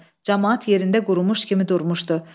Camaat yerində qurumuş kimi durmuşdı.